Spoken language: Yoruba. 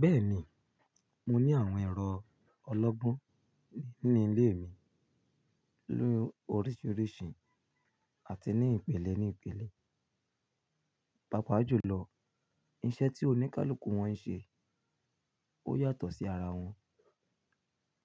Bẹ́ẹ̀ni, mo ní àwọn ẹ̀rọ ọlọ́gbọ́n ní ilé mi lóríṣiríṣi àti ní ìpele ní ìpele. Papaa jùlọ iṣẹ́ tí oníkálukú wọn ń ṣe ó yàtọ̀ sí ara wọn,